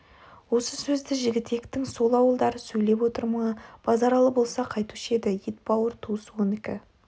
осы сөзді жігітектің сол ауылдары сөйлеп отыр ма базаралы болса қайтуші еді ет бауыр туыс онікі